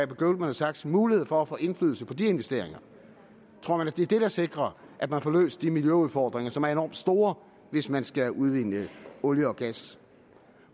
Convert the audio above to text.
goldman sachs mulighed for at få indflydelse på de investeringer tror man at det er det der sikrer at man får løst de miljøudfordringer som er enormt store hvis man skal udvinde olie og gas